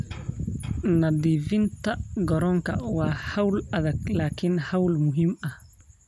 Nadiifinta garoonka waa hawl adag laakiin hawl muhiim ah.